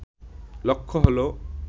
লক্ষ্য হল